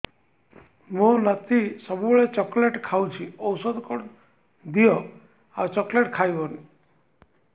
ମୋ ନାତି ସବୁବେଳେ ଚକଲେଟ ଖାଉଛି ଔଷଧ କଣ ଦିଅ ଆଉ ଚକଲେଟ ଖାଇବନି